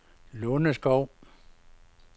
Lunderskov